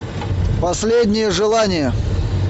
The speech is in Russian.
последнее желание